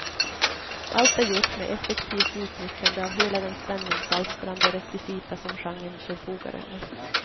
Allt är gjort med effektivt utnyttjande av hela den spänningsalstrande rekvisita som genren förfogar över.